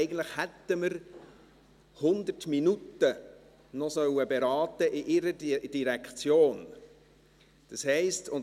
Eigentlich hätten wir noch 100 Minuten in ihrer Direktion beraten sollen.